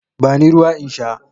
Bani ruwa in sha.